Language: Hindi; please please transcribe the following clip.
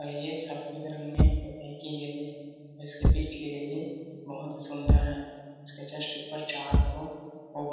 और ये सफेद रंग में पुताई की गई है और इसके बीच की रेलिंग बहुत सुंदर है इसके जस्ट ऊपर चार को ओ बना --